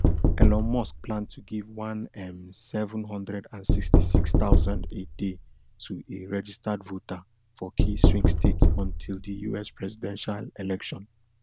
elon musk plan to give one um seven hundred and sixty-six thousand a day to a registered voter for key swing states until di us presidential election